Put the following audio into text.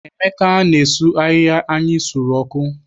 Emeka na-esu ahịhịa anyị sụrụ ọkụ.